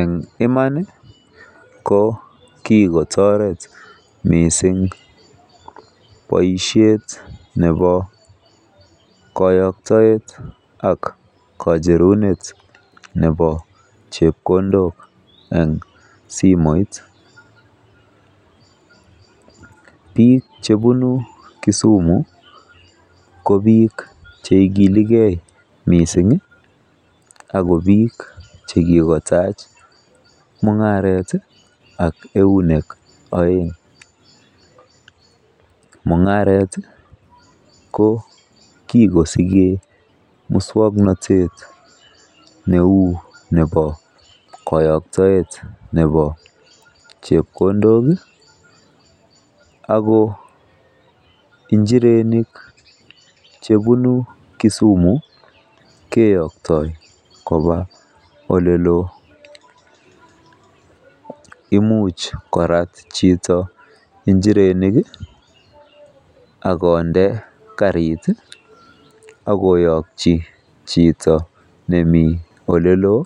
En iman ko kigotoret mising boisiet nebo koyoktoet ak kacherunet nebo chepkondok en simoit. Biik chebunu Kisumu ko biik che ikilege mising ago biik che kigotach mung'aret ak eunek oeng. Mung'aret ko kigosigen muswoknatet neu nebo koyoktaet nebo chepkondok ago injirenik chebunu Kisumu keyoktoi koba ole loo. Imuch korat chito injirenik ak konde karit ak koyokyi chito nemi ole loo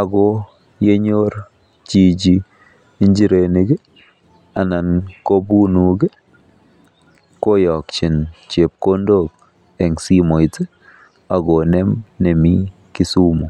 ago yenyor chichi injirenik anan ko bunuuk koyokyi chepkondok en simoit ak konem nemi Kisumu.